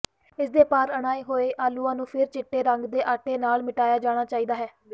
ਇਸਦੇ ਪਰਿਣਾਏ ਹੋਏ ਆਲੂਆਂ ਨੂੰ ਫਿਰ ਚਿੱਟੇ ਰੰਗ ਦੇ ਆਟੇ ਨਾਲ ਮਿਟਾਇਆ ਜਾਣਾ ਚਾਹੀਦਾ ਹੈ